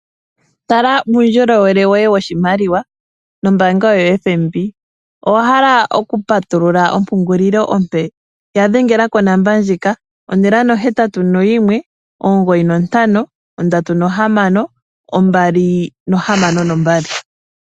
Tala uundjolowele woye woshimaliwa nombaanga yoFNB. Owa hala okupatulula ompungulilo ompe? Ya dhengela konomola ndjika 081 9536262.